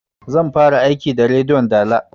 Zan fara aiki da rediyon dala